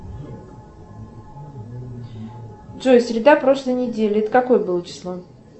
джой среда прошлой недели это какое было число